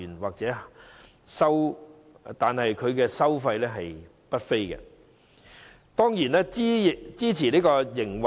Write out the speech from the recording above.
由於收費不菲，這些院舍自然可以支持營運。